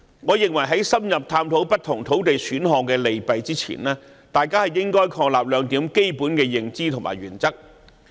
我認為，在深入探討不同土地選項的利弊之前，大家應確立兩項基本的認知和原則。